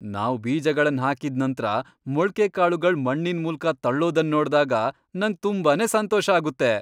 ನಾವ್ ಬೀಜಗಳನ್ ಹಾಕಿದ್ ನಂತ್ರ ಮೊಳ್ಕೆಕಾಳುಗಳ್ ಮಣ್ಣಿನ ಮೂಲ್ಕ ತಳ್ಳೊದನ್ ನೋಡ್ದಾಗ ನಂಗ್ ತುಂಬಾನೇ ಸಂತೋಷ ಆಗುತ್ತೆ.